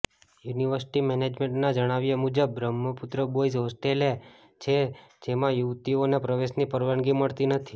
university મેનેજમેન્ટના જણાવ્યાં મુજબ બ્રહ્મપુત્ર બોયઝ હોસ્ટેલ છે જેમાં યુવતીઓને પ્રવેશની પરવાનગી મળતી નથી